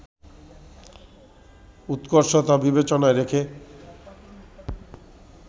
উৎকর্ষতা বিবেচনায় রেখে